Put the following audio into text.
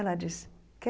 Ela disse, quê?